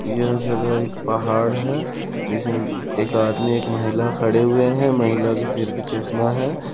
यह जगह एक पहाड़ है जिसे एक आदमी एक महिला खड़े हुए है महिला के सिर पे चश्मा हैं।